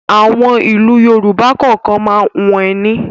Àwọn ìlú Yorùbá kọ̀ọ̀kan máa ń hun ẹní.